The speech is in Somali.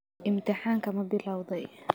Imtixaanka ma bilowday?